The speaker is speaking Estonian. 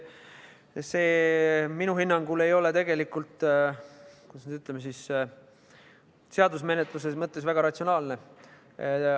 Minu hinnangul ei ole see seaduse menetluse mõttes väga ratsionaalne.